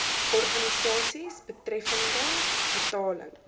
organisasies betreffende betaling